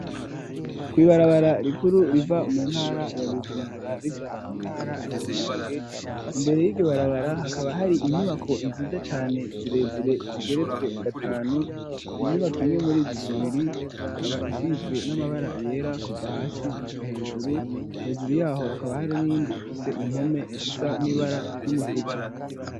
Kw'ibarabara rikuru riva mu ntara ya bujumbura rija mu ntara ya romonge imbere y'igubarabara hakaba hari inyubako nziza cane zirezire zigeretswe gatanu inyubako imwe muri zo zibiri ikaba isizwe n'amabara yera kuva hasi gushika hejuru hejuru yaho hakaba hari n'iyindi ifise impome zisa n'ibara ry'umutuku.